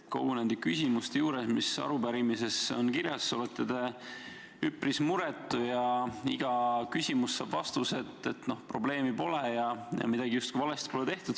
Kõigi nende küsimuste puhul, mis arupärimises on kirjas, olete te üpris muretu ja iga küsimus saab vastuse, et probleemi pole ja midagi justkui valesti pole tehtud.